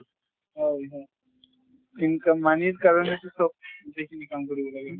হয় হয়। income money ৰ কাৰণেতো চব গোটেইখিনি কাম কৰিব লাগে।